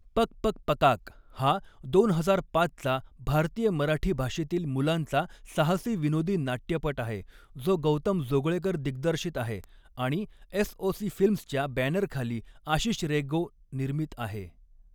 पक पक पकाक हा दोन हजार पाचचा भारतीय मराठी भाषेतील मुलांचा साहसी विनोदी नाट्यपट आहे, जो गौतम जोगळेकर दिग्दर्शित आहे आणि एसओसी फिल्म्सच्या बॅनरखाली आशिष रेगो निर्मित आहे.